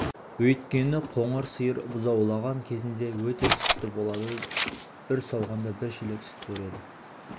өйткені қоңыр сиыр бұзаулаған кезінде өте сүтті болады бір сауғанда бір шелек сүт береді